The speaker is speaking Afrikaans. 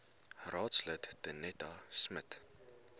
raadslid danetta smit